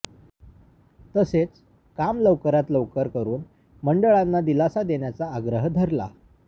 तसेच काम लवकरात लवकर करून मंडळांना दिलासा देण्याचा आग्रह धरला